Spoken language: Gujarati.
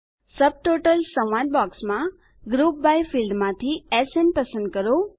સબટોટલ્સ સંવાદ બૉક્સમાં ગ્રુપ બાય ફિલ્ડમાંથી એસએન પસંદ કરો